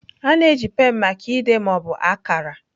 A na-eji pen maka ide ma ọ bụ akara.